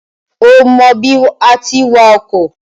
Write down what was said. O mọ bí àá ti wa ọkọ̀?